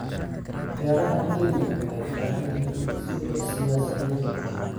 Beeraha Kenya waxay u baahan yihiin isbedel siyaasadeed.